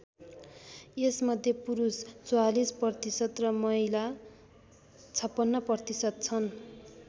यसमध्ये पुरुष ४४% र महिला ५६% छन्।